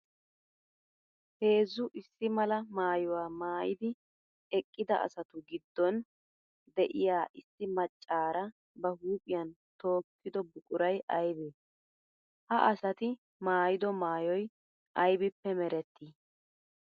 Heezzu issi mala maayuwa maayiddi eqqidda asattadu gidon de'iya issi macara ba huuphphiyan tookkido buquray aybbe? Ha asatti maayido maayoy aybbippe meretti?